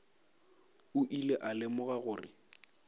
o ile a lemoga gore